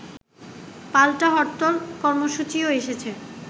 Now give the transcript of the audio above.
পাল্টা হরতাল কর্মসূচিও এসেছে